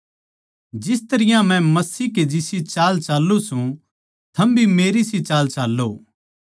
जिस तरियां मै मसीह के जिसी चाल चाल्लुं सूं थम भी मेरी सी चाल चाल्लों